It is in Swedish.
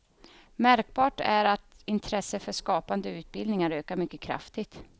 Märkbart är att intresset för skapande utbildningar ökar mycket kraftigt.